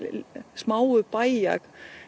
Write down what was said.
smáu bæja